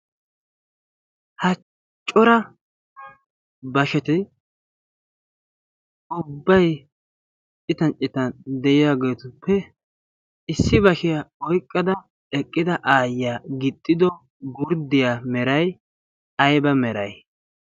Ha cora basheti ubbayi citan citan de'iyageetiuppe issi bashiya oyqqada eqqida aayyiya gixxido gurddiya merayi ayba merayi?